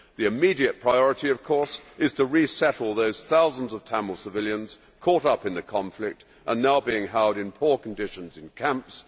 The immediate priority, of course, is to resettle those thousands of Tamil civilians caught up in the conflict and now being held in poor conditions in camps.